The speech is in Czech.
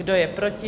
Kdo je proti?